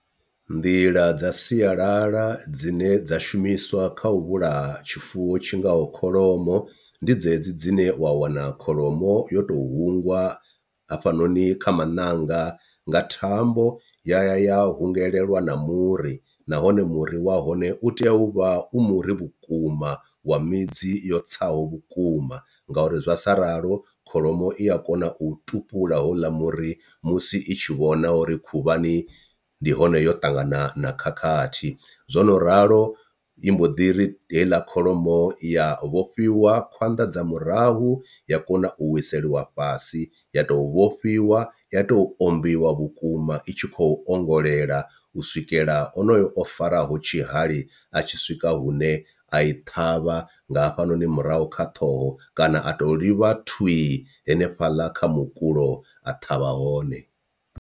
Nḓila dza sialala dzine dza shumiswa kha u vhulaha tshifuwo tshi ngaho kholomo ndi dzedzi dzine wa wana kholomo yo to hangwa hafhanoni kha maṋanga nga thambo ya ya ya hungelelwa na muri nahone muri wa hone u tea u vha u muri vhukuma wa midzi yo tsaho vhukuma, ngauri zwa sa ralo kholomo i ya kona u tupula hola muri musi i tshi vhona uri khuvhani ndi hone yo ṱangana na khakhathi. Zwo no ralo i mbo ḓi ri heiḽa kholomo ya vhofhiwa khwanḓa dza murahu ya kona u wiseliwa fhasi, ya tou vhofhiwa ya tou o ombiwa vhukuma i tshi khou ongolela u swikela onoyo o faraho tshihali a tshi swika hune a i ṱhavha nga hafhanoni murahu kha ṱhoho kana a tou ḽivha thwii henefhaḽa kha mukulo a ṱhavha hone.